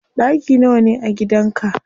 Ɗaki nawa ne a gidan ka?